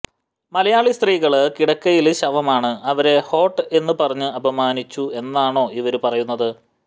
മലയാളി സ്ത്രീകള് കിടക്കയില് ശവമാണ് അവരെ ഹോട്ട് എന്ന്പറഞ്ഞു അപമാനിച്ചു എന്നാണോ ഇവര് പറയുന്നത്